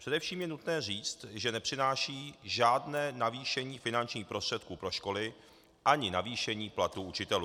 Především je nutné říct, že nepřináší žádné navýšení finančních prostředků pro školy ani navýšení platů učitelů.